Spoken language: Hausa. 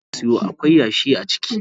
Ayan da na siyo akwai yashi a ciki.